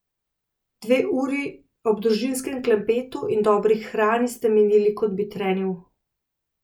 Dve uri ob družinskem klepetu in dobri hrani sta minili, kot bi trenil.